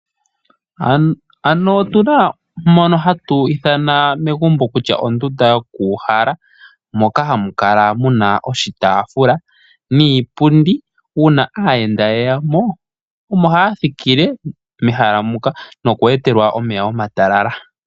Megumbo otunamo ondunda yo kuuhala moka ha mu kala oshitafula niipundi, nuuna aayenda ngele yeyamo mehala muka omo haa thikile nokweetelwa omeya omatalala.